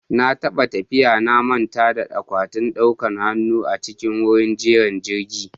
Na taɓa tafiya na manta da akwatin ɗaukan hanu a cikin wurin jiran jirgi